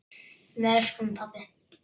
Við elskum þig, pabbi.